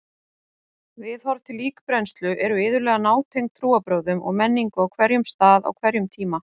Viðhorf til líkbrennslu eru iðulega nátengd trúarbrögðum og menningu á hverjum stað á hverjum tíma.